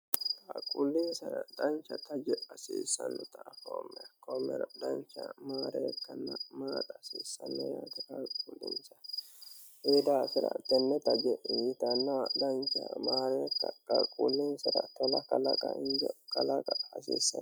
Qaaqquulinsara dancha taje hasiissannota afoomme ikoomero dancha maareekanna maaxa hasiissanne yaate qaaqquulinsara konni daafira tenne taje yitannoha dancha maareeka qaquullinsira tola kalaqa injo kalaqa hasiissanno.